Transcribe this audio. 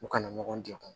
U kana ɲɔgɔn degun